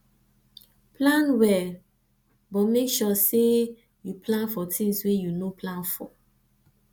plan well but make sure sey you plan for things wey you no plan for